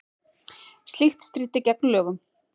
Slíkt stríddi gegn lögum